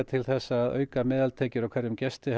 til þess að auka meðaltekjur af hverjum gesti